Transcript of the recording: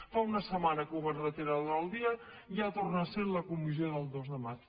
fa una setmana que ho van retirar de l’ordre del dia i ja torna a ser a la comissió del dos de maig